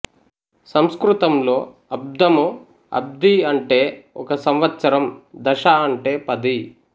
సంస్కృతంలో అబ్దము అబ్ది అంటే ఒక సంవత్సరం దశ అంటే పది